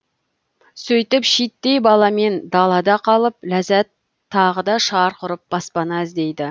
сөйтіп шиеттей баламен далада қалып ләззәт тағы да шарқ ұрып баспана іздейді